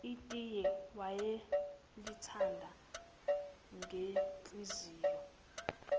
itiye wayelithanda ngenhliziyo